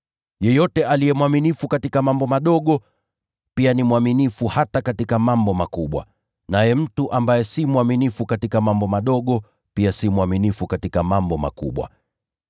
“Yeyote aliye mwaminifu katika mambo madogo, pia ni mwaminifu hata katika mambo makubwa, naye mtu ambaye si mwaminifu katika mambo madogo pia si mwaminifu katika mambo makubwa.